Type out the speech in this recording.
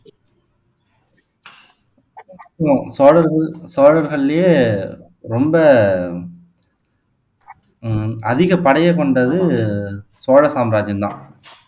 உம் சோழர்கள் சோழர்களிலேயே ரொம்ப உம் அதிக படையை கொண்டது சோழ சாம்ராஜ்யம் தான்